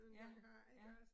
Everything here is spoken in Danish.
Ja, ja